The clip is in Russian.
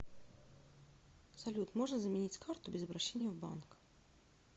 салют можно заменить карту без обращения в банк